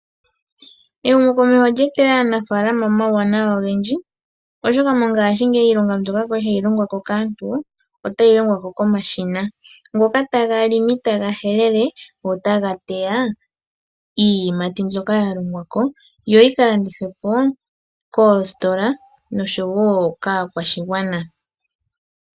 Ehumo komeho olya etela aanafaalama omawunawa ogendji oshoka mongashingeyi, iilonga mbyoka kwali hayi longwa kaantu otayi longwa komashina. Ngoka taga limi ta ga helele go taga teya, iiyimati mbyoka ya longwa ko, yo yi ka landithwepo koositola nenge kaakwashigwana.